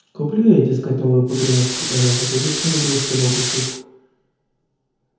куплю ей дескать новую погремушку и она забудет что набила себе на лбу шишку